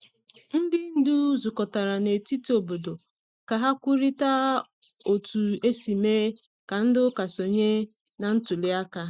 Ndị ndu zukọtara na etiti obodo ka ha kwurịta otu esi mee ka ndị ụka sonye na ntuli aka.